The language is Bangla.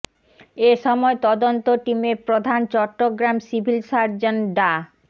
এ সময় তদন্ত টিমের প্রধান চট্টগ্রাম সিভিল সার্জন ডা